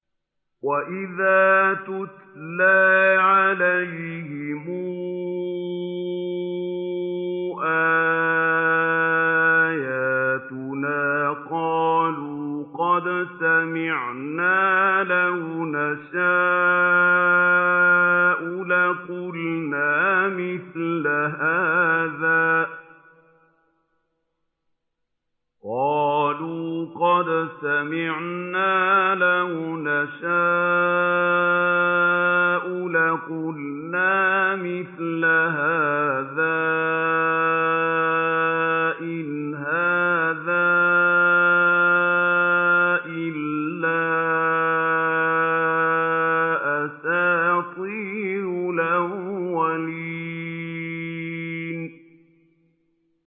وَإِذَا تُتْلَىٰ عَلَيْهِمْ آيَاتُنَا قَالُوا قَدْ سَمِعْنَا لَوْ نَشَاءُ لَقُلْنَا مِثْلَ هَٰذَا ۙ إِنْ هَٰذَا إِلَّا أَسَاطِيرُ الْأَوَّلِينَ